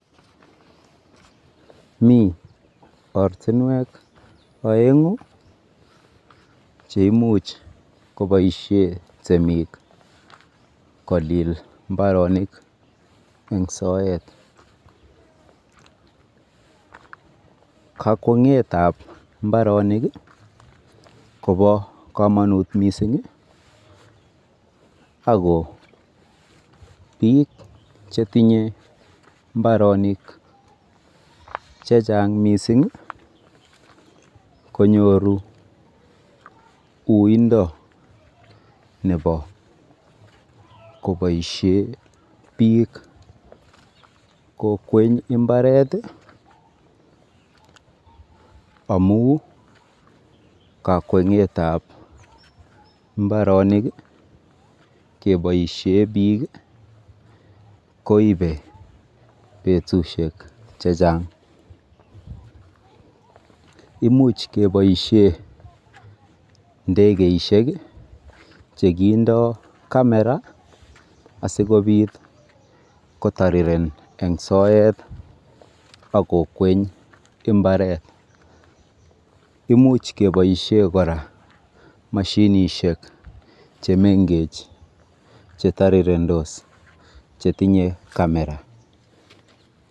Mi ortinwek oeng'u cheimuch koboisie temik kolil mbarenik eng soet. Kakweng'etab mbaronik kobo komonut mising ako biik chetinye mbaronik chechang mising konyoru uindo nebo koboisie biik kokweny imbaret amu kakwengetab mbaronik keboisie biik koibe betusiek checheng. Imuch keboisie ndekeishek chekindo kamera asikobit kotariren eng soet akokweny mbaret.